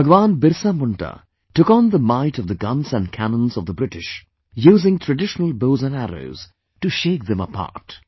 BhagwanBirsaMunda took on the might of the guns & cannons of the British, using traditional bows and arrows, to shake them apart